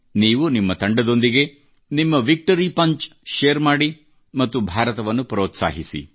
ನೀವು ನಿಮ್ಮ ತಂಡದೊಂದಿಗೆ ನಿಮ್ಮ ವಿಕ್ಟರಿ ಪಂಚ್ ಶೇರ್ ಮಾಡಿ ಮತ್ತು ಭಾರತವನ್ನು ಪ್ರೋತ್ಸಾಹಿಸಿ